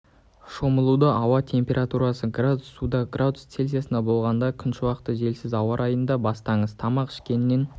шомылуды ауаның температурасы градус суда градус цельсиясында болғанда күншуақты желсіз ауа райында бастаңыз тамақ ішкеннен